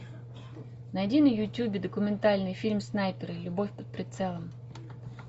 найди на ютубе документальный фильм снайперы любовь под прицелом